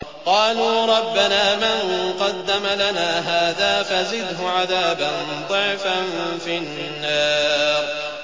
قَالُوا رَبَّنَا مَن قَدَّمَ لَنَا هَٰذَا فَزِدْهُ عَذَابًا ضِعْفًا فِي النَّارِ